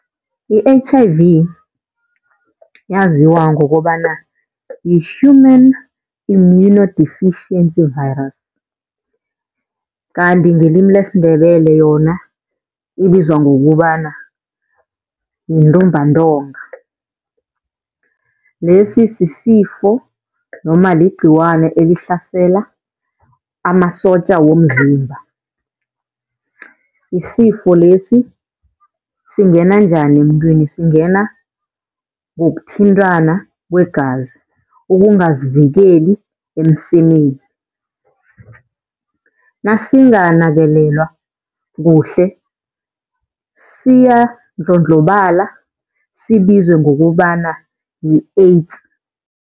I-H_I_V yaziwa ngokobana yi-Human immunodeficiency virus. Kanti ngelimi lesiNdebele yona ibizwa ngokubana yintumbantonga. Lesi sisifo noma ligciwane elihlasela amasotja womzimba. Isifo lesi singena njani emntwini? Singena ngokuthintana kwegazi, ukungazivikeli emsemeni. Nasinganakelelwa kuhle siyandlondlobala sibizwe ngokobana yi-AIDS.